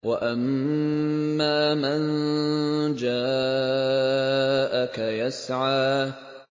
وَأَمَّا مَن جَاءَكَ يَسْعَىٰ